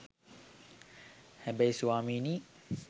හැබැයි ස්වාමීනී